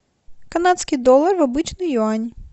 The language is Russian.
канадский доллар в обычный юань